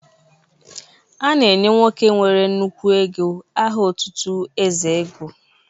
A na-enye nwoke nwere nnukwu ego aha otutu Eze ego